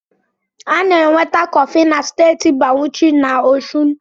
A na-enweta kọfị na Steeti Bawuchi na Ọshụn